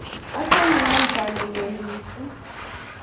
achame ankaa ni lel misong